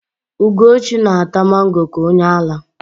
Ugochi na-ata mango ka onyeara.